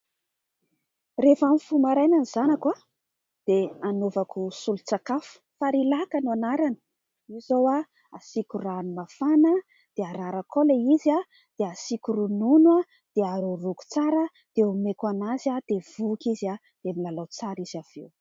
Rehefa mifoha maraina ny zanako, dia anaovako solon-tsakafo. "Farilac" no anarany. Io izao, asiako rano mafana dia ararako ilay izy, dia asiako ronono dia haroharoako tsara dia omeko azy dia voky izy dia milalao tsara avy eo.